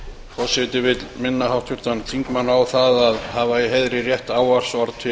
forseti vill minna háttvirtan þingmann á það að hafa í heiðri rétt ávarpsorð til